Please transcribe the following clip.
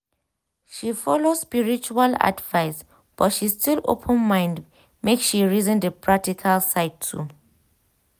she follow spiritual advice but she still open mind make she reason di practical side too.